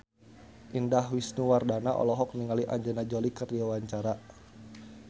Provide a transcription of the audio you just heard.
Indah Wisnuwardana olohok ningali Angelina Jolie keur diwawancara